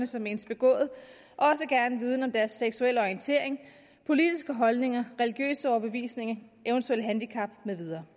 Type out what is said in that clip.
som menes begået også gerne viden om deres seksuelle orientering politiske holdninger religiøse overbevisninger eventuelle handicap med videre